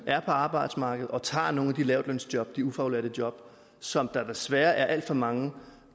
er på arbejdsmarkedet og tager nogle af de lavtlønsjob de ufaglærte jobs som der desværre er alt for mange